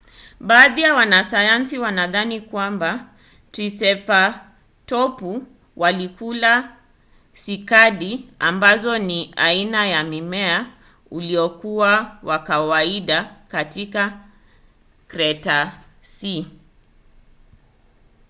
baadhi ya wanasayansi wanadhani kwamba triseratopu walikula sikadi ambazo ni aina ya mmea uliokuwa wa kawaida katika kretasea